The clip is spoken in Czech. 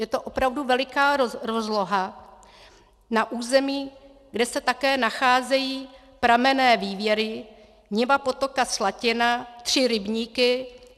Je to opravdu veliká rozloha na území, kde se také nacházejí pramenné vývěry, niva potoka Slatina, tři rybníky.